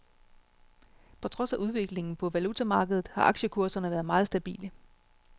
På trods af udviklingen på valutamarkedet har aktiekurserne været meget stabile.